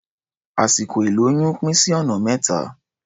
Àsìkò ìlóyún pín sí ọ̀nà mẹ́ta.